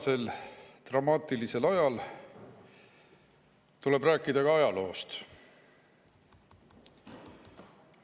Praegusel dramaatilisel ajal tuleb rääkida ka ajaloost.